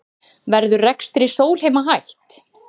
Verður rekstri Sólheima hætt